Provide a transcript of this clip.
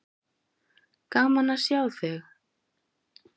Gaman að sjá þig.